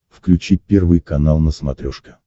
включи первый канал на смотрешке